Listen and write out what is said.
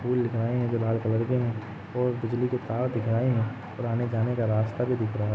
और फूल दिख रहे है जो लाल कलर के है और बिजली के तार दिख रहे है और आने जाने का रास्ता भी दिख रहा हैं।